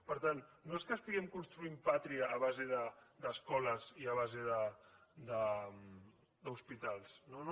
per tant no és que estiguem construint pàtria a base d’escoles i a base d’hospitals no no